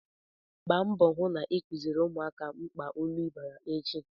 Gba mbọ hụ na ị kuziri ụmụaka mkpa ilu bara echi!